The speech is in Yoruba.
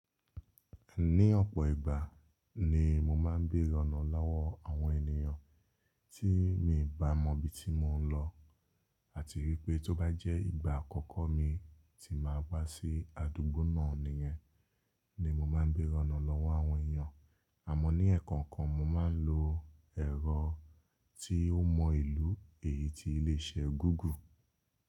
Ní ọ̀pọ̀ ìgbà ni mo máa ń beèrè ọ̀nà lọ́wọ́ àwọn ènìyàn tí mi n bá mọ ibi tí mò ń lọ àti wípé tó bá jẹ́ ìgbà àkọ́kọ́ mi tí wàá gbà sí àdúgbò náà nìyẹn ni mo máa ń beèrè ọ̀nà lọ́wọ́ àwọn èèyàn. Àmọ́ ní ẹ̀ẹ̀kọ̀kan mo máa ń lo ẹ̀rọ tí ó mọ ìlú èyí tí iléeṣẹ́ Google.